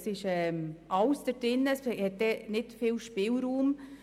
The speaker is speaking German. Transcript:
Alles ist enthalten und es gibt wenig Spielraum.